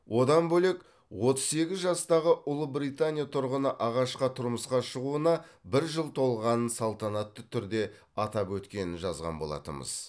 одан бөлек отыз сегіз жастағы ұлыбритания тұрғыны ағашқа тұрмысқа шығуына бір жыл толғанын салтанатты түрде атап өткенін жазған болатынбыз